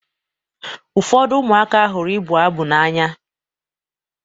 Ụfọdụ ụmụaka hụrụ ịbụ abụ n'anya.